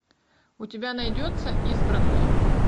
у тебя найдется избранные